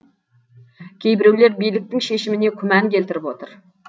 кейбіреулер биліктің шешіміне күмән келтіріп отыр